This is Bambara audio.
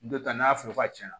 Dɔ ta n'a fɔ ka caya